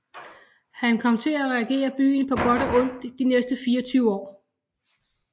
Han kom til at regere byen på godt og ondt de næste 24 år